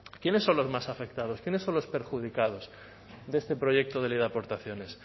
quiénes son los más afectados quiénes son los perjudicados de este proyecto de ley de aportaciones